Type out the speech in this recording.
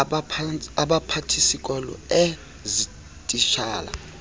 abaphathisikolo ee zititshala